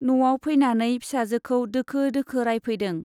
न'आव फैनानै फिसाजोखौ दोखो दोखो रायफैदों।